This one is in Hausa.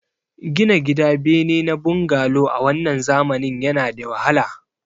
Gina gida bene na bangalo a wannan zamanin yana da wahala